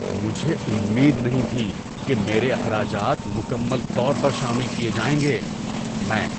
مجھے امید نہیں تھی کہ میرے اخراجات مکمل طور پر شامل کیے جائیں گے۔ (میں)